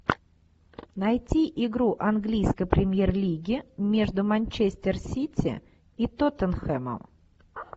найти игру английской премьер лиги между манчестер сити и тоттенхемом